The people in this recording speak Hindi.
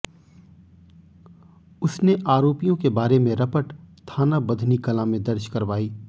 उसने आरोपियों के बारे में रपट थाना बधनी कलां में दर्ज करवाई